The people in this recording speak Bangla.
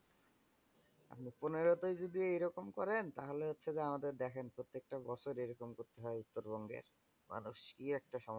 পনেরো তেই যদি এইরকম করেন তাহলে হচ্ছে যে, আমাদের দেখেন প্রত্যেকটা বছর এরকম করতে হয় উত্তরবঙ্গের মানুষ, কি একটা সমস্যা?